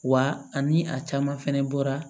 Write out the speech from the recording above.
Wa ani a caman fɛnɛ bɔra